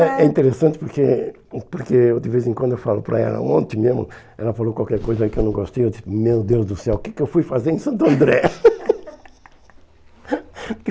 É interessante porque porque de vez em quando eu falo para ela, ontem mesmo, ela falou qualquer coisa que eu não gostei, eu disse, meu Deus do céu, o que que eu fui fazer em Santo André?